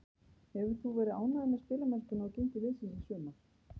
Hefur þú verið ánægður með spilamennskuna og gengi liðsins í sumar?